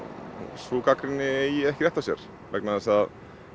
sú gagnrýni eigi ekki rétt á sér vegna þess að